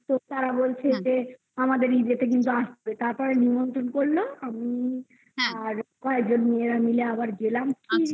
তো তারা বলছে যে আমাদের ইদেতে কিন্তু আসবে তারপরে নিমন্ত্রণ করল আমি আর কয়েকজন মেয়েরা মিলে আবার গেলাম খুব